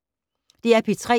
DR P3